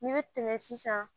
N'i bɛ tɛmɛ sisan